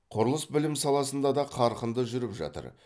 құрылыс білім саласында да қарқынды жүріп жатыр